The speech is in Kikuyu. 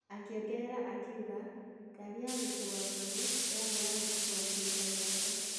Akĩongerera akiuga: " Ngari ya gũkua arũaru yarĩ ya gũkuwa kĩimba gĩake."